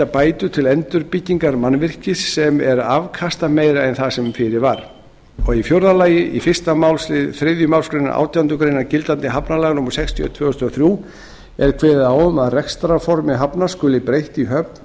bætur til endurbyggingar mannvirkis sem er afkastameira en það sem fyrir var fjórði í fyrsta málsl þriðju málsgrein átjándu grein gildandi hafnalaga númer sextíu og eitt tvö þúsund og þrjú er kveðið á um að rekstrarformi hafnar skuli breytt í höfn